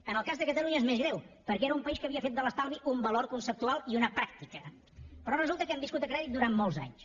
en el cas de catalunya és més greu perquè era un país que havia fet de l’estalvi un valor conceptual i una pràctica però resulta que hem viscut a crèdit durant molts anys